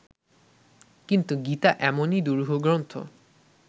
কিন্তু গীতা এমনই দুরূহ গ্রন্থ